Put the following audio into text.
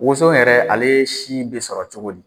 Woso in yɛrɛ ale si bɛ sɔrɔ cogo di ?